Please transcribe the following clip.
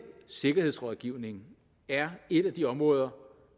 sikkerhedsrådgivning er et af de områder